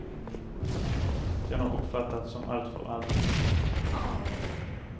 Den har uppfattats som alltför allmän.